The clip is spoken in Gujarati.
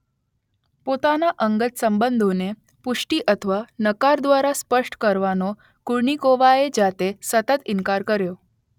પોતાના અંગત સંબંધોને પુષ્ટિ અથવા નકાર દ્વારા સ્પષ્ટ કરવાનો કુર્નિકોવાએ જાતે સતત ઈનકાર કર્યો હતો